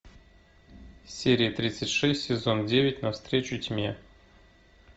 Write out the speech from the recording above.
серия тридцать шесть сезон девять на встречу тьме